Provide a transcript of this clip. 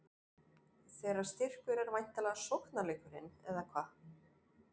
Þeirra styrkur er væntanlega sóknarleikurinn, eða hvað?